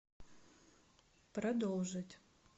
продолжить